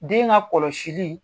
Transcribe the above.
Den ka kɔlɔsili